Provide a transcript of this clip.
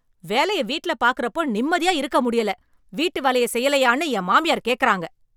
வேலைய வீட்டுல பார்க்கிற அப்போ நிம்மதியா இருக்க முடியல வீட்டு வேலைய செய்யலையான்னு என் மாமியார் கேட்கிறாங்க